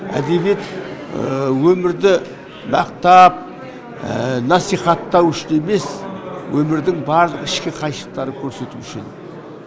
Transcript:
әдебиет өмірді мақтап насихаттау үшін емес өмірдің барлық ішкі қайшылықтарын көрсету үшін